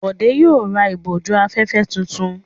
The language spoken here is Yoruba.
Bọ̀dé yóò ra ìbòjú-afẹ́fẹ́ tuntun.